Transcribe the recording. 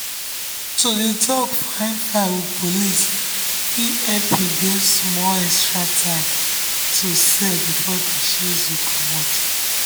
to dey talk fine-fine with police fit help you gain small extra time to sell before dem chase you comot.